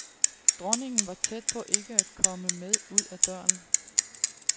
Dronningen var tæt på ikke at komme med ud ad døren.